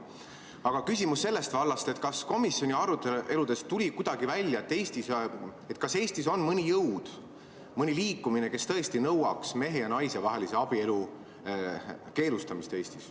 Aga küsimus on sellest vallast, et kas komisjoni aruteludest tuli kuidagi välja, kas Eestis on mõni jõud, mõni liikumine, kes tõesti nõuaks mehe ja naise vahelise abielu keelustamist Eestis.